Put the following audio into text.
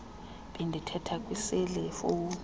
bendithetha kwiseli fowuni